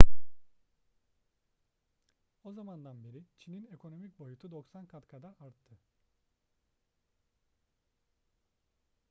o zamandan beri çin'in ekonomik boyutu 90 kat kadar arttı